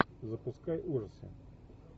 запускай ужасы